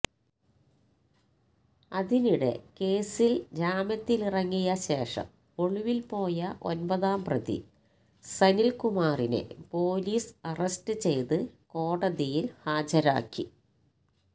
അതിനിടെ കേസില് ജാമ്യത്തിലിറങ്ങിയ ശേഷം ഒളിവില് പോയ ഒമ്പതാം പ്രതി സനില്കുമാറിനെ പോലീസ് അറസ്റ്റ് ചെയ്ത് കോടതിയില് ഹാജരാക്കി